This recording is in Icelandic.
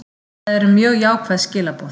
Það eru mjög jákvæð skilaboð